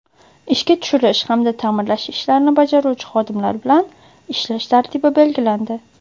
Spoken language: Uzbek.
ishga tushirish hamda taʼmirlash ishlarini bajaruvchi xodimlar bilan ishlash tartibi belgilandi.